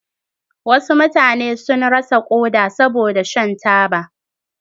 Wasu mutane sun rasa koda saboda shan taba.